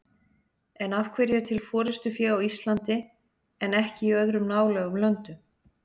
En af hverju er til forystufé á Íslandi en ekki í öðrum nálægum löndum?